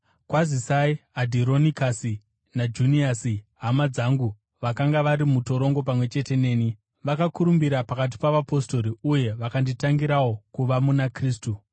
Kwazisai Adhironikasi naJuniasi, hama dzangu vakanga vari mutorongo pamwe chete neni. Vakakurumbira pakati pavapostori, uye vakanditangirawo kuva muna Kristu.